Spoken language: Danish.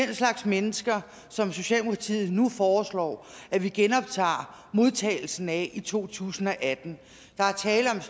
den slags mennesker som socialdemokratiet nu foreslår at vi genoptager modtagelsen af i to tusind og atten